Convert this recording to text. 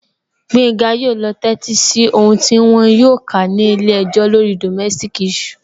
Gbenga yóò lọ tẹ́tí sí ohùn tí wọn yóò kà ní ilé-ẹjọ́ lórí ọ̀rọ̀ domestic issue